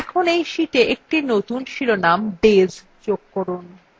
এখন এই শিটa একটি নতুন শিরোনাম days যোগ করুন